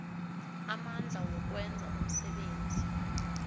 amandla wokwenza umsebenzi